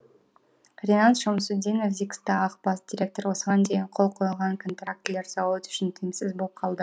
ринат шамсутдинов зиксто ақ бас директоры осыған дейін қол қойылған контрактілер зауыт үшін тиімсіз болып қалды